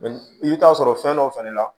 i bɛ taa sɔrɔ fɛn dɔ fɛnɛ la